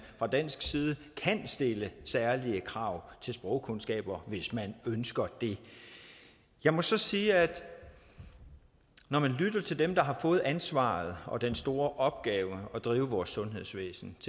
fra dansk side kan stille særlige krav til sprogkundskaber hvis man ønsker det jeg må så sige at når man lytter til dem der har fået ansvaret og den store opgave at drive vores sundhedsvæsen